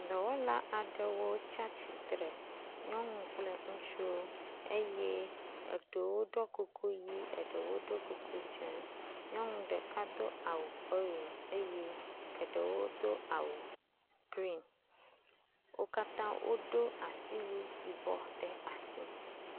Dɔwɔla aɖewo tsi atsitre eye eɖewo ɖɔ kuku ʋi eye eɖewo ɖɔ kuku dzɛ̃. Nyɔnu ɖeka do awu orange eye eɖewo do awu green wo katã wodo asiwu yibɔ ɖe asi